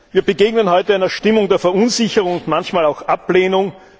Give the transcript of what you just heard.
Wir begegnen heute einer Stimmung der Verunsicherung, manchmal auch Ablehnung.